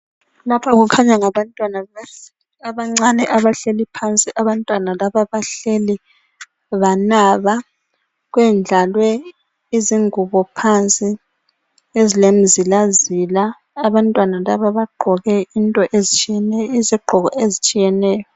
Lapha kukhanya ngabantwana abancane abahleli phansi. Abantwana laba bahleli banaba, kwendlalwe izingubo phansi ezilemizilazila. Abantwana laba bagqoke into ezitshiyeneyo, izigqoko ezitshiyeneyo.